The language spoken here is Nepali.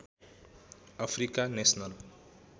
Africa national